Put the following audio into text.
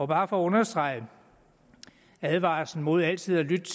bare for at understrege advarslen mod altid at lytte